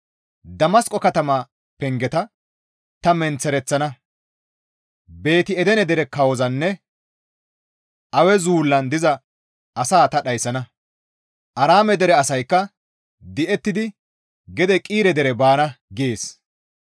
Damasqo katama pengeta ta menththereththana; Beeti-Edene dere kawozanne Awe zullaan diza asaa ta dhayssana; Aaraame dere asaykka di7ettidi gede Qiire dere baana» gees.